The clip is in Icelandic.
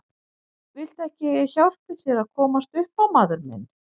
Viltu ekki að ég hjálpi þér að komast upp á maður minn.